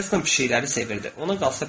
Heston pişikləri sevirdi.